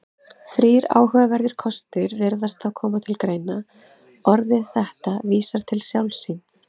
Þrír áhugaverðir kostir virðast þá koma til greina: Orðið þetta vísar til sjálfs sín.